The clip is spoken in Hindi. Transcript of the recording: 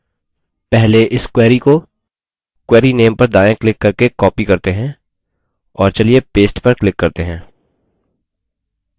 पहले इस query को query name पर दायाँ click करके copy करते हैं और paste पर click करते हैं